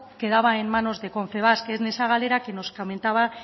quedaba en manos de confebask en esa galera que nos comentaba